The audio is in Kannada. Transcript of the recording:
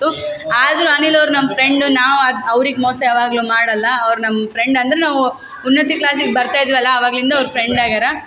ತ್ತು ಆದ್ರೂ ಅನಿಲ್ ಅವ್ರ್ ನಮ್ಮ್ ಫ್ರೆಂಡು ನಾವ್ ಅ ಅವ್ರಿಗ್ ಮೋಸ ಯಾವಾಗ್ಲೂ ಮಾಡಲ್ಲ ಅವ್ರ್ ನಮ್ಮ್ ಫ್ರೆಂಡ್ ಅಂದ್ರ್ ನಾವು ಉನ್ನತಿ ಕ್ಲಾಸಿಗ್ ಬರ್ತಾಯಿದ್ದೀವಲ್ಲ ಆವಾಗ್ಲಿಂದ ಅವ್ರ್ ಫ್ರೆಂಡ್ ಆಗ್ಯಾರ.